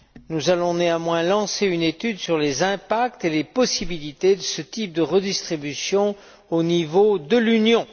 Nous allons néanmoins lancer une étude sur les impacts et les possibilités de ce type de répartition au niveau de l'Union.